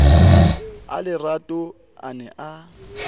a lerato a ne a